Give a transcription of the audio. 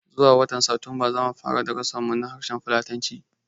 Zuwa watan Satumba zamu fara darasin mu na harshen fulatanci